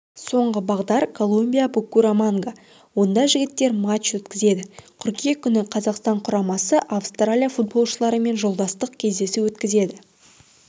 соңғы бағдар колумбия-букураманга онда жігіттер матч өткізеді қыркүйек күні қазақстан құрамасы австралия футболшыларымен жолдастық кездесу өткізеді